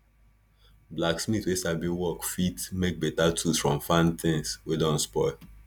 blacksmith wey sabi work fit make beta tools from farm things wey don spoil